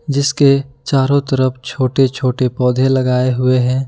जिसके चारों तरफ छोटे छोटे पौधे लगाए हुए हैं।